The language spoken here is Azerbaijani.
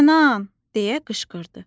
Kənan deyə qışqırdı.